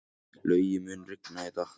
Laugi, mun rigna í dag?